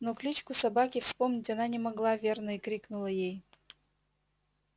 но кличку собаки вспомнить она не могла верно и крикнула ей